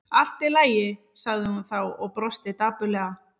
Allt í lagi- sagði hún þá og brosti dapurlega.